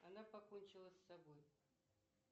она покончила с собой